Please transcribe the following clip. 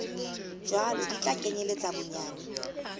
jwalo di tla kenyeletsa bonyane